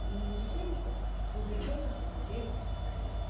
и сотрудников вовлечённых во внедрения позиционирования